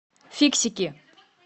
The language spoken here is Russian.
фиксики